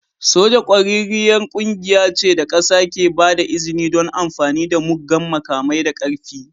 Soja ƙwararriyar ƙungiya ce da ƙasa ke ba da izini don amfani da muggan makamai da ƙarfi.